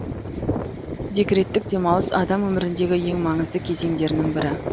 декреттік демалыс адам өміріндегі ең маңызды кезеңдерінің бірі